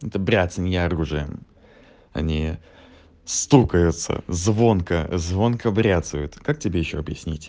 это бряцанье оружием они стукаются звонко звонко бряцают как тебе ещё объяснить